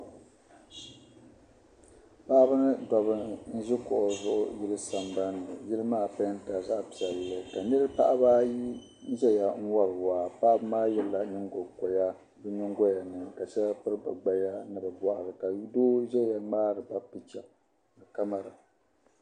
Paɣaba mini daba m ʒi kuɣu zuɣu yili san ban ni yili maa pɛɛntila zaɣi piɛli ka n nyɛ paɣaba ayi niʒaya n wari waa paɣaba maa zaa yela nyiŋ go koya bɛn nyiŋgoyani ka shɛli piri bɛ gbayani ni bapiri ni ka doo ʒaya mŋaariba picha kamara